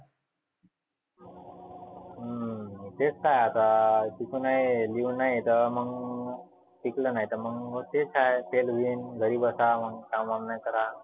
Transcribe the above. हम्म तेच तर आहे आता शिकु नही लिऊ नाही तर मग टिकलं नाहीतर मग तेच आहे. fail होईन घरी बसा मह काम नाही करा.